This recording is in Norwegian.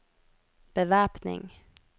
bevæpning